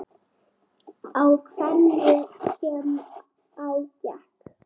Á hverju sem á gekk.